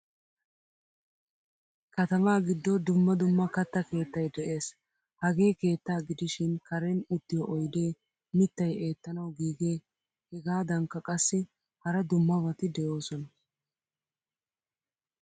Katama giddo dumma dumma katta keettay de'ees. Hagee keetta gidishin karen uttiyo oyde, mittay eettanawu giige hegadankka qassi hara dummabati de'osona.